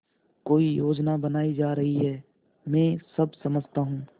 कोई योजना बनाई जा रही है मैं सब समझता हूँ